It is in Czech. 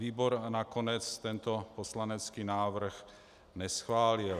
Výbor nakonec tento poslanecký návrh neschválil.